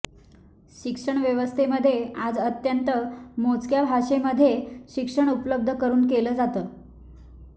शिक्षण व्यवस्थेमध्ये आज अत्यंत मोजक्या भाषेमध्ये शिक्षण उपलब्ध करून केलं जातं